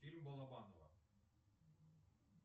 фильм балабанова